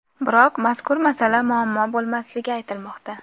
Biroq mazkur masala muammo bo‘lmasligi aytilmoqda.